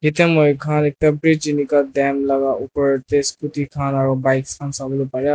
etya moikhan ekta bridge enika dam laga opor teh scooty khan aro bikes khan sabole paray aro --